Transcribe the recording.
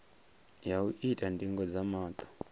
ya u ita ndingo dza maṱo